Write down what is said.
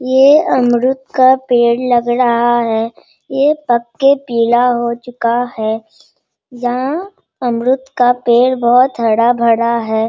ये अमरुद का पेड़ लग रहा है | ये पक के पीला हो चुका है | यहाँ अमरुद का पेड़ बहुत हरा-भरा है।